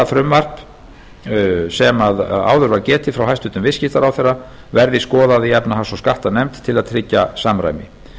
frumvarp sem ég mæli hér fyrir verði skoðað í efnahags og skattanefnd til að tryggja samræmi